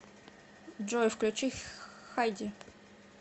джой включи хайди